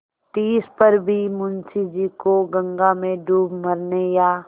तिस पर भी मुंशी जी को गंगा में डूब मरने या